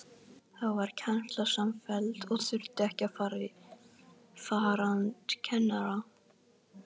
Þá varð kennsla samfelld og þurfti ekki farandkennara.